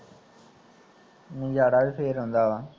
ਨਜ਼ਾਰਾ ਵੀ ਫੇਰ ਆਉਂਦਾ ਵਾ